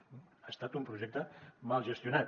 ha estat un projecte mal gestionat